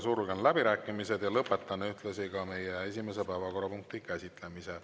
Sulgen läbirääkimised ja lõpetan ühtlasi meie esimese päevakorrapunkti käsitlemise.